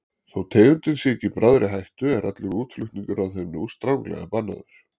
Þó tegundin sé ekki í bráðri hættu er allur útflutningur á þeim nú stranglega bannaður.